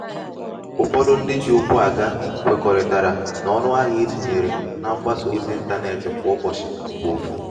ụfọdụ ndị um ji ukwu aga kwekoritara na um ọnụahịa e tinyere na mgbasa ozi 'ịntanetị kwa ụbọchị bu ofu